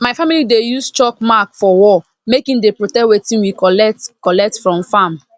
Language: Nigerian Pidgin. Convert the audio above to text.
my family dey use chalk mark for wall make e dey protect wetin we collect collect from farm